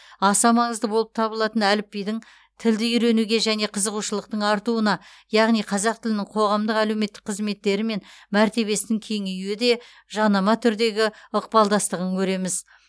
аса маңызды болып табылатын әліпбидің тілді үйренуге деген қызығушылықтың артуына яғни қазақ тілінің қоғамдық әлеуметтік қызметтері мен мәртебесінің кеңеюі де жанама түрдегі ықпалдастығын көреміз